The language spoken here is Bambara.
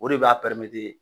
O de b'a pɛrɛmete